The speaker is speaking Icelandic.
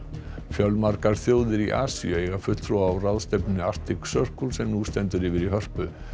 fjölmargar þjóðir í Asíu eiga fulltrúa á ráðstefnunni Arctic Circle sem nú stendur yfir í Hörpu